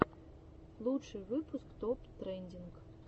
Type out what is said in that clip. лучший выпуск топ трендинг